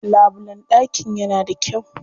Labulen ɗakin yana da kyau.